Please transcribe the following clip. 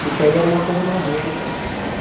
Porque aí era uma coisa mais lenta e.